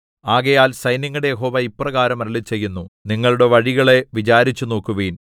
ആകയാൽ സൈന്യങ്ങളുടെ യഹോവ ഇപ്രകാരം അരുളിച്ചെയ്യുന്നു നിങ്ങളുടെ വഴികളെ വിചാരിച്ചുനോക്കുവിൻ